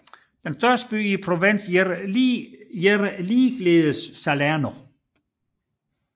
Den største by i provinsen hedder ligeledes Salerno